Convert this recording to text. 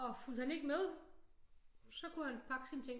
Og fulgte han ikke men så kunne han pakke sine ting